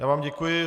Já vám děkuji.